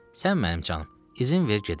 Sən mənim canım, izin ver gedim.